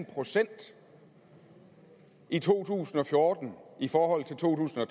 procent i to tusind og fjorten i forhold til to tusind og